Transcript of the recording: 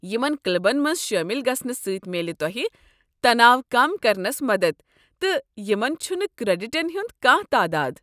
یمن کلبن منٛز شٲمل گژھنہٕ سۭتۍ میلہِ تۄہہ تناو كم كرنس مدتھ تہٕ یمن چھُنہٕ كریڈِٹن ہٖنٛد كانہہ تعداد۔